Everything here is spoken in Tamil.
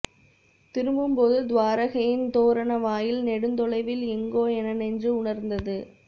திரும்பும்போது துவாரகையின் தோரண வாயில் நெடுந்தொலைவில் எங்கோ என நெஞ்சு உணர்ந்தது